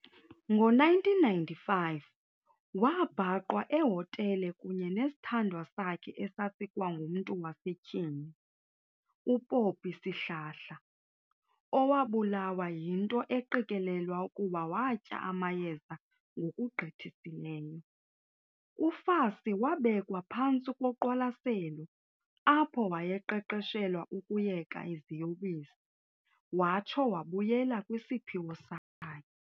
Ngo1995, wabhaqwa ehotele kunye nesithandwa sakhe esasikwangumntu wasetyhini, uPoppie Sihlahla, owabulawa yinto eqikelelwa ukuba watya amayeza ngokugqithisileyo. UFassie wabekwa phantsi koqwalaselo apho wayeqeqeshelwa ukuyeka iziyobisi watsho wabuyela kwisiphiwo sakhe.